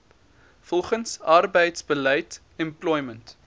volgens arbeidsbeleid employment